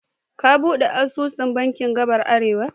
Ka ɓude asusu da bankin gadar Arewa.